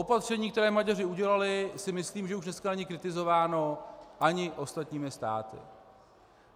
Opatření, které Maďaři udělali, si myslím, že už dneska není kritizováno ani ostatními státy.